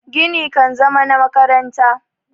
gini kan zama na makaranta